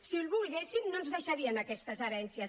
si ho volguessin no ens deixarien aquestes herències